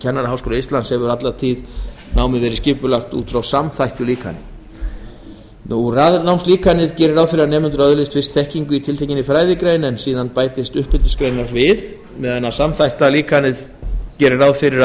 kennaraháskóla íslands hefur námið alla tíð verið skipulagt út frá samþættu líkani raðnámslíkanið gerir ráð fyrir því að nemendur öðlist fyrst þekkingu í tiltekinni fræðigrein en síðan bætist uppeldisgreinar við en samþætta líkanið gerir ráð fyrir